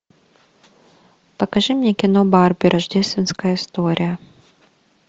покажи мне кино барби рождественская история